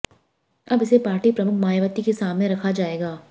अब इसे पार्टी प्रमुख मायावती के सामने रखा जाएगा